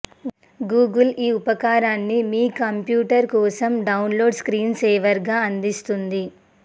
Google ఈ ఉపకరణాన్ని మీ కంప్యూటర్ కోసం డౌన్లోడ్ స్క్రీన్సేవర్గా అందిస్తుంది